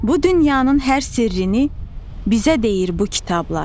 Bu dünyanın hər sirrini bizə deyir bu kitablar.